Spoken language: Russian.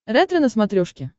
ретро на смотрешке